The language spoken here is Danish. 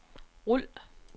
rul